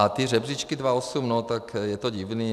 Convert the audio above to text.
A ty žebříčky 2008, no tak je to divné.